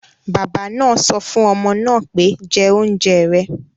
Bàbá náà sọ fún ọmọ náà pé, 'jẹ oúnjẹ rẹ̀'